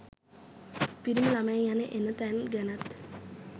පිරිමි ළමයින් යන එන තැන් ගැනත්